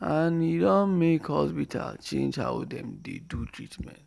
and e don make hospital change how dem dey do treatment.